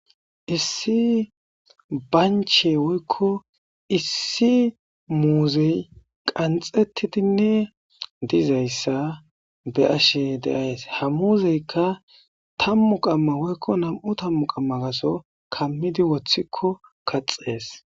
issi banche woykko issi muuzey qanxettidinne dizayssa be ashe deays ha muuzeykka tammu qamma woykko nam7u tammu qamma gaso kammidi woththikko kaxees